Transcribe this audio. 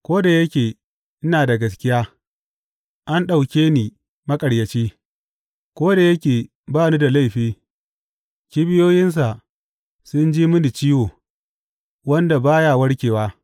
Ko da yake ina da gaskiya, an ɗauke ni maƙaryaci; ko da yake ba ni da laifi, kibiyoyinsa sun ji mini ciwo wanda ba ya warkewa.’